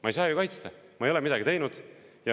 Ma ei saa ju ennast kaitsta, ma ei ole midagi teinud.